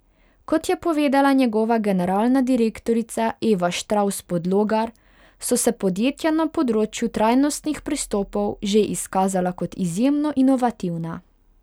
Kot je povedala njegova generalna direktorica Eva Štravs Podlogar, so se podjetja na področju trajnostnih pristopov že izkazala kot izjemno inovativna.